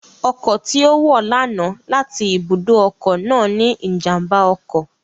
Ọkọ̀ tí ó wọ̀ lánàá láti ibùdó ọkọ̀ náà ní ìjàmbá ọkọ̀